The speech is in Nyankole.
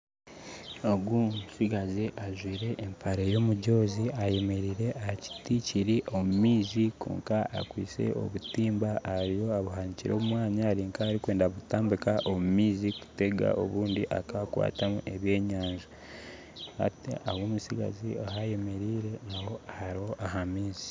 Ogu omutsigazi ajwaire empare yomujoozi ayemereire aha kiti kiri omu maizi kwonka akwaitse obutimba ariho abuhanikire omu mwanya ari nk'orikwenda kutambika omu maizi kutega obundi akakwatamu eby'enyanja hati ahu omutsigazi ayemereire naho hariho amaizi.